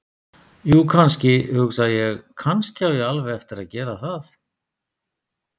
Jú, kannski, hugsa ég: Kannski á ég alveg eftir að gera það.